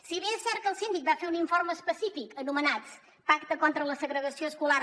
si bé és cert que el síndic va fer un informe específic anomenat pacte contra la segregació escolar